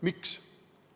Miks?